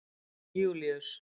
Júlíus